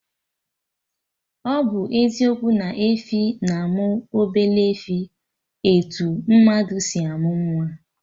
Ọ bụ eziokwu na efi na-amụ obele efi, etu mmadụ si amụ nwa